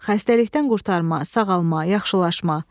xəstəlikdən qurtarma, sağalma, yaxşılaşma.